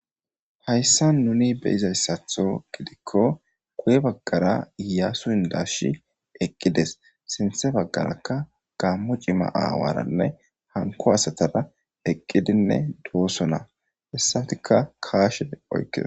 hayssa nuni beyizayssatho gidikko guye baggara yaa su indashi eqqides sinthe baggarakka gammo cima aawaranne hanko asatara eqqidinne dooso na hessatika kaashe oykies